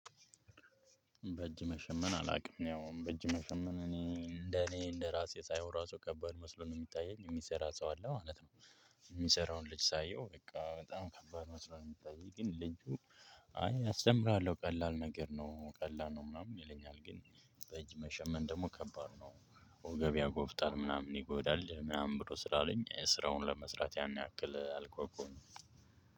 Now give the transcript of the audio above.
በእጅ መሸመን አላውቅም ያው በእጅ መሸመን እኔ እንደ እኔ እንደ ራሴ ሳይሆን ራሱ ከባድ መስሎ ነው የሚታየኝ የሚሰራ ሰው አለ ማለት ነው የሚሰራውን ልጅ ሳየው በቃ በጣም ከባድ መስሎ ነው የሚታየኝ። ግን ልጁ እይ እስጀምርሀለው ቀላል ነገር ነው። ቀላል ነው ምናምን ይለኛል ግን በእጅ መሸመን ደግሞ ከባድ ነው ወገብ ያጎብጣል ምናምን ይጎዳል ምናምን ብሎ ስላለኝ ስራውን ለመስራት ያን ያክል አልጓጓሁም